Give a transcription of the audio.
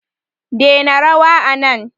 dena rawa anan